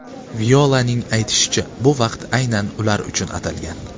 Violaning aytishicha, bu vaqt aynan ular uchun atalgan.